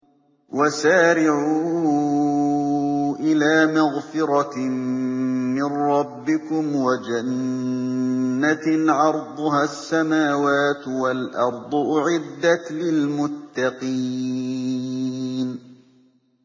۞ وَسَارِعُوا إِلَىٰ مَغْفِرَةٍ مِّن رَّبِّكُمْ وَجَنَّةٍ عَرْضُهَا السَّمَاوَاتُ وَالْأَرْضُ أُعِدَّتْ لِلْمُتَّقِينَ